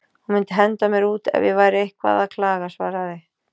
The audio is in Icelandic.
Hún myndi henda mér út ef ég væri eitthvað að klaga, svaraði